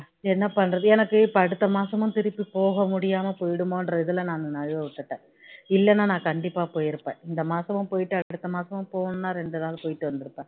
என்ன பண்றது எனக்கு இப்போ அடுத்த மாசமும் திருப்பி போக முடியாம போயிடுமோ என்ற இதுல நான் நழுவவிட்டுட்டேன் இல்லன்னா நான் கண்டிப்பா போயிருப்பேன் இந்த மாசமும் போயிட்டு அடுத்த மாசமும் போணும்னா இரண்டு நாள் போயிட்டு வந்திருப்பேன்